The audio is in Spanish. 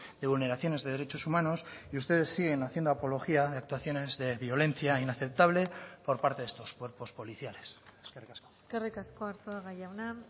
de vulneraciones de derechos humanos y ustedes siguen haciendo apología de actuaciones de violencia inaceptable por parte de estos cuerpos policiales eskerrik asko eskerrik asko arzuaga jauna